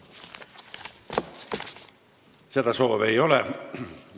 Kõnesoove ei ole.